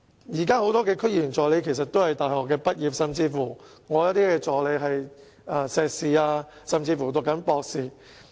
現時很多區議員助理其實也是大學畢業生，我的一些助理甚至是碩士畢業或正在攻讀博士學位。